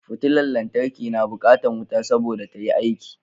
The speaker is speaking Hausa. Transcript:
Futular lantarki na bukatar wuta saboda tayi aiki